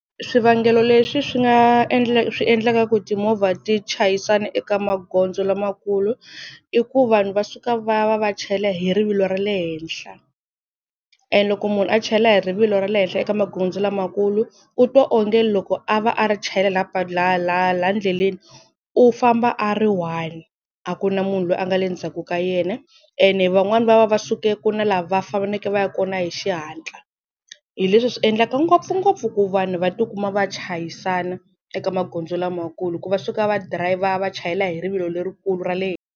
Swivangelo leswi swi nga swi endlaka ku timovha ti chayisana eka magondzo lamakulu, i ku vanhu va suka va va va chayela hi rivilo ra le henhla, and loko munhu a chayela hi rivilo ra le henhla eka magondzo lamakulu u twa onge loko a va a ri chayela laha ndleleni u famba a ri one a ku na munhu loyi a nga le ndzhaku ka yena. Ene van'wani va va va suke ku na la va fanekele va ya kona hi xihatla hi leswi swi endlaka ngopfungopfu ku vanhu va tikuma va chayisana eka magondzo lamakulu, hi ku va suka va dirhayivha va chayela hi rivilo lerikulu ra le henhla.